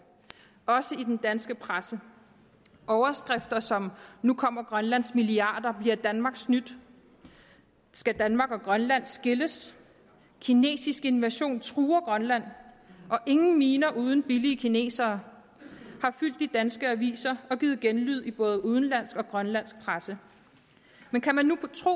også i den danske presse overskrifter som nu kommer grønlands milliarder bliver danmark snydt skal danmark og grønland skilles kinesisk invasion truer grønland og ingen miner uden billige kinesere har fyldt de danske aviser og givet genlyd i både udenlandsk og grønlandsk presse men kan man nu tro